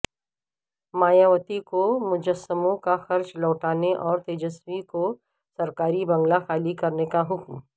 مایاوتی کو مجسموں کا خرچ لوٹانے اور تیجسوی کو سرکاری بنگلہ خالی کرنے کا حکم